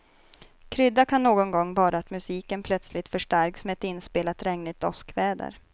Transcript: Krydda kan någon gång vara att musiken plötsligt förstärks med ett inspelat regnigt åskväder.